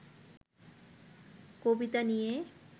কবিতা নিয়ে